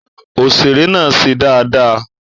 Òṣèré náà ṣe dáadáa